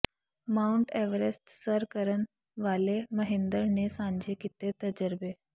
Mount Everest ਸਰ ਕਰਨ ਵਾਲੇ ਮਹਿੰਦਰ ਨੇ ਸਾਂਝੇ ਕੀਤੇ ਤਜਰਬੇ